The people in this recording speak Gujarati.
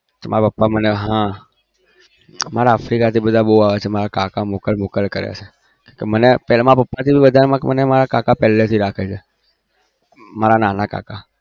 મારા પપ્પા મને હા મારે africa થી બઉ આવ્યા છે મારા પપ્પા થી વધારે મારા કાકા નાના કાકા પેલેથી રાખે છે મારા નાંના કાકા